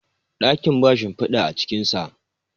dakin ba shimfida a cikinsa